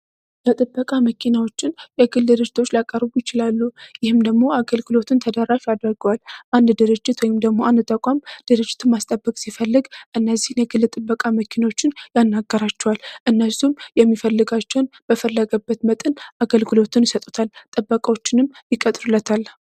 የጥበቃ መኪናዎችን የግል ድርጅቶች ሊያቀርቡ ይችላሉ። ይህም ደግሞ አገልግሎቱን ተደራሽ ያደርገዋል። አንድ ድርጅት ወይም ደግሞ አንድ ተቋም ድርጅቱን ማስጠበቅ ሲፈል እነዚህን የግል ጥበቃ መኪናዎችን ያናግራቸዋል እነሱም የሚፈልጋቸውን በሚፈልገው መጠን ይሸጡለታል ጥበቃዎችንም ይቀጥሩለታል።